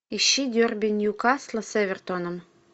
ищи дерби ньюкасла с эвертоном